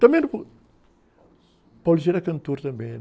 Também, era cantor também.